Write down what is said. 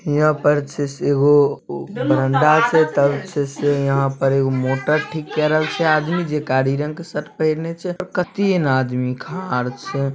यहाँ पर अच्छे से वो बरंडा छे तब छे से यहाँ पर एगो मोटर ठीक कर रहल छे आदमी जे कारी रंग के शर्ट पहिनले छे और कतीन आदमी खाड़ छे।